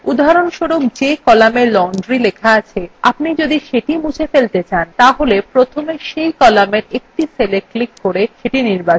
উদাহরণস্বরূপ যে column laundry লেখা আছে আপনি যদি সেটি মুছে ফেলতে চান তাহলে প্রথমে cell কলামের একটি cella ক্লিক করে সেটি নির্বাচন করুন